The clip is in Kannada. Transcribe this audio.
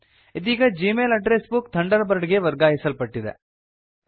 ಇದೀಗ Gmail address book Thunderbird ಗೆ ವರ್ಗಾಯಿಸಲ್ಪಟ್ಟಿದೆ